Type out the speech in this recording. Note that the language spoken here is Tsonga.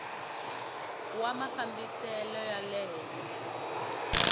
wa mafambisele ya le henhla